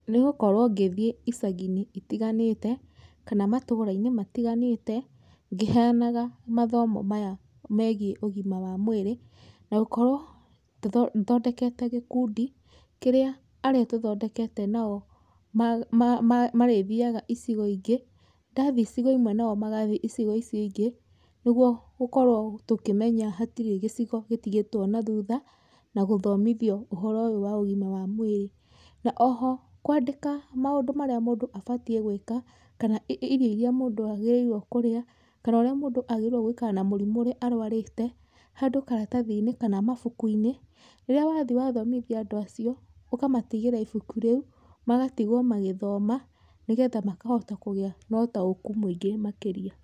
Nĩgũkorwo ngĩthiĩ icagĩ-inĩ itiganĩte kana matũũra-inĩ matiganĩte ngĩhenyana mathomo maya megiĩ ũgima wa mũĩrĩ na gũkorwo thondekete gĩkundi kĩrĩa arĩa tũthondekete na o marĩthinyaga icigo ingĩ, ndathiĩ icigo imwe na o magathiĩ icigo icio ingĩ nĩguo gũkorwo tũkĩmenya hatirĩ gĩcigo gĩtigĩtwo na thutha na gũthomithio ũhoro ũyũ wa ũgima wa mũĩrĩ. Na oho kwandĩka maũndũ marĩa mũndũ abatiĩ gwĩka kana irio irĩa mũndũ agĩrĩirwo kũrĩa kana ũrĩa mũndũ agĩrĩirwo gũikara na mũrimũ ũrĩa arũarĩte handũ karatathi-inĩ kana mabuku-inĩ, rĩrĩa wathiĩ wathomithia andũ acio ũkamatigĩra ibuku rĩu magatigwo magĩthoma nĩgetha makahota kũgĩa na ũtaũku mũingĩ makĩria.